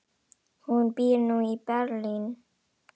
Hún býr nú í Berlín.